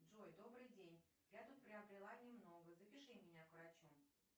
джой добрый день я тут приобрела немного запиши меня к врачу